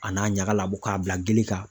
A n'a ɲaga labɔ k'a bila gili kan.